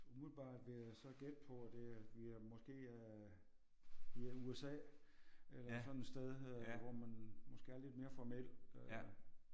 Umiddelbart vil jeg så gætte på at det det måske er i øh USA eller sådan et sted øh hvor man måske er lidt mere formel øh